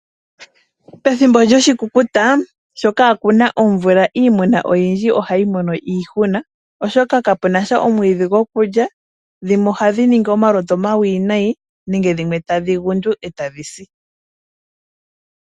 Pethimbo lyoshikukuta sho kaa ku na omvula iimuna oyindji ohayi mono iihuna, oshoka kapuna sha omwiidhi gokulya. Dhimwe ohadhi ningi omalutu omawinayi nenge dhimwe tadhi gundu e ta dhi si.